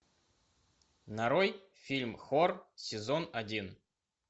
нарой фильм хор сезон один